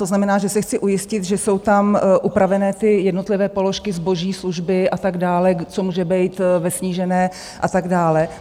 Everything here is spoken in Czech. To znamená, že se chci ujistit, že jsou tam upravené ty jednotlivé položky, zboží, služby a tak dále, co může být ve snížené a tak dále.